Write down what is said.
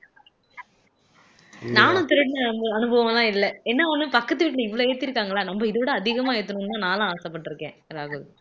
நானும் திருடுன அனுபவம் எல்லாம் இல்ல என்ன ஒண்ணு பக்கத்து வீட்டுல இவ்வளவு ஏத்திருக்காங்களா நம்ம இதைவிட அதிகமா ஏத்தணும்னு நான்லாம் ஆசைப்பட்டு இருக்கேன் ராகுல்